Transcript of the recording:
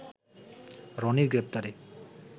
রনির গ্রেপ্তারে